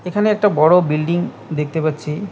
এখানে একটা বড় বিল্ডিং দেখতে পাচ্ছি।